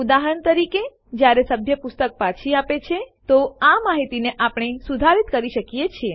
ઉદાહરણ તરીકે જયારે સભ્ય પુસ્તક પાછી આપે છે તો આ માહિતીને આપણે સુધારિત કરી શકીએ છીએ